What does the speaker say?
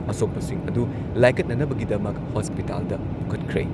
ꯑꯁꯣꯛꯄꯁꯤꯡ ꯑꯗꯨ ꯂꯥꯏꯀꯠꯅꯅꯕꯒꯤꯗꯃꯛ ꯍꯣꯁꯄꯤꯇꯥꯜꯗ ꯄꯨꯈꯠꯈ꯭ꯔꯦ꯫